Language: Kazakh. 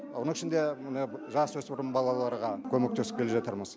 оның ішінде мына жасөспірім балаларға көмектесіп келе жатырмыз